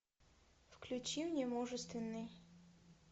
включи мне мужественный